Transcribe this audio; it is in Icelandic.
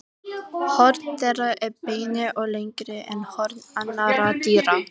Flestar fæðutegundir sem innihalda sykrur geta valdið vindgangi.